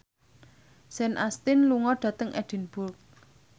Sean Astin lunga dhateng Edinburgh